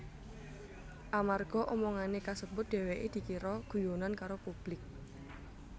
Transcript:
Amarga omongané kasebut dheweké dikira guyonan karo publik